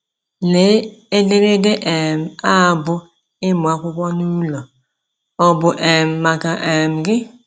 Lee ederede um a bụ́ “Ịmụ Akwụkwọ N'ulo — ọ bụ um maka um gị? ”